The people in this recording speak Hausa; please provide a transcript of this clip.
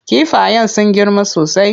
Kifayen sun girma sosai.